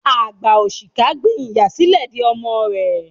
Àgbà òṣìkà ń gbin ìyà sílẹ̀ de ọmọ rẹ̀.